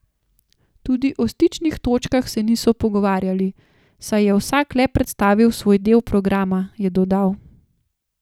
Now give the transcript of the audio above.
Tudi o stičnih točkah se niso pogovarjali, saj je vsak le predstavil svoj del programa, je dodal.